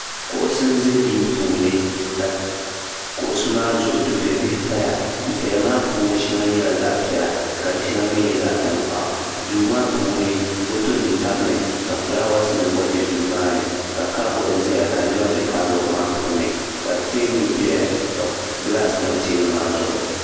kuɣusi n ʒɛ duu puuni ka kuɣusi maa zuɣu dufɛ bihi paya dufɛya maa puuni shɛŋa nyɛla zaɣ piɛla ka di shɛŋa mii nyɛ zaɣ tankpaɣu duu maa puuni foto nim tabimi ka fulaawaasi nim gba bɛ duu maa ni ka kabood ʒɛya ka niɛma bɛ kabood maa puuni ka teebuli ʒɛya ka gilaas tam teebuli maa zuɣu